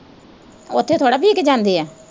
ਉੱਥੇ ਥੋੜਾ ਪੀ ਕੇੇ ਜਾਂਦੇ ਆ।